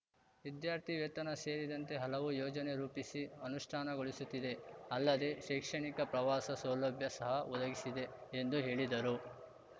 ವಿದ್ಯಾರ್ಥಿವೇತನ ಸೇರಿದಂತೆ ಹಲವು ಯೋಜನೆ ರೂಪಿಸಿ ಅನುಷ್ಟಾನಗೊಳಿಸುತ್ತಿದೆ ಅಲ್ಲದೆ ಶೈಕ್ಷಣಿಕ ಪ್ರವಾಸ ಸೌಲಭ್ಯ ಸಹ ಒದಗಿಸಿದೆ ಎಂದು ಹೇಳಿದರು